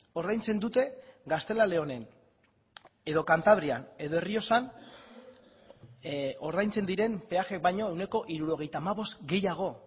ordaintzen dute gaztela leonen edo kantabrian edo errioxan ordaintzen diren peaje baino ehuneko hirurogeita hamabost gehiago